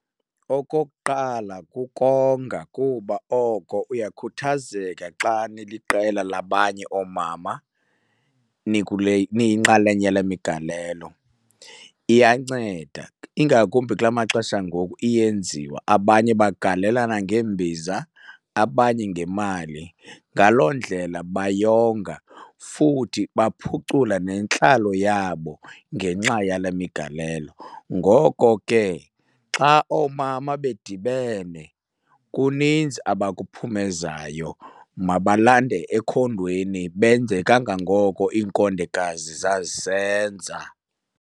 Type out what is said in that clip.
Okokuqala kukonga kuba oko uyakhuthazeka xa niliqela labanye oomama nikule niyinxalenye yale migalelo. Iyanceda ingakumbi kula maxesha ngoku iyenziwa, abanye bagalelana ngeembiza abanye ngemali. Ngaloo ndlela bayonga futhi baphucula nentlalo yabo ngenxa yale migalelo. Ngoko ke xa oomama bedibene kuninzi abakuphumezayo, mabalande ekhondweni benze kangangoko iinkondekazi zazisenza.